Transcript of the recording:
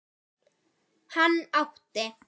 Hann átti